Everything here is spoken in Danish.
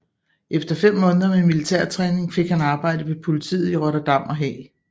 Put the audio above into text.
Efter fem måneder med militær træning fik han arbejde ved politiet i Rotterdam og Haag